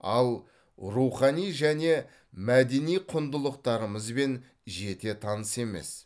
ал рухани және мәдени құндылықтарымызбен жете таныс емес